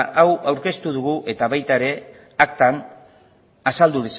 hau aurkeztu dugu eta baita ere aktan azaldu